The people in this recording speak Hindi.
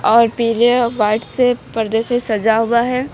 और पीछे व्हाइट से परदे से सजा हुआ है।